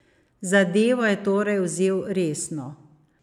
Zadevo je torej vzel resno.